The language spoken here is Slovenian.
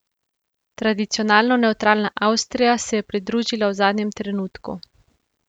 Tradicionalno nevtralna Avstrija se je pridružila v zadnjem trenutku.